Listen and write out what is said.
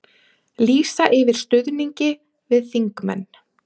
Lýsa yfir stuðningi við þingmenn